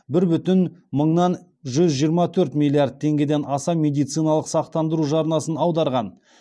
бір бүтін мыңнан жүз жиырма төрт миллиард теңгеден аса медициналық сақтандыру жарнасын аударған